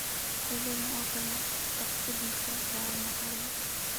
Xaaladdan oo kale, shakhsiyaadkaas waa macalimiin.